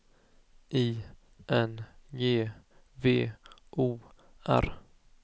I N G V O R